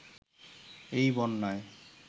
এই বন্যায়